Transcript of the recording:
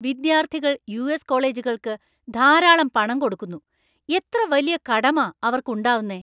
വിദ്യാർത്ഥികൾ യു.എസ് കോളേജുകൾക്ക് ധാരാളം പണം കൊടുക്കുന്നു , എത്ര വലിയ കടമാ അവര്‍ക്ക് ഉണ്ടാവുന്നെ!